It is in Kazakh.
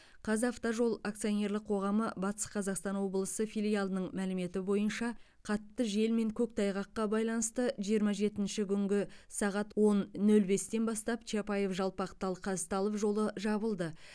қазавтожол акционерлік қоғамы батыс қазақстан облысы филиалының мәліметі бойынша қатты жел мен көктайғаққа байланысты жиырма жетінші күнгі сағат он нөл бестен бастап чапаев жалпақтал қазталов жолы жабылды